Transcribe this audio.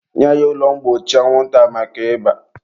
nye ya ụlọ mgbochi anwụnta maka ịba!.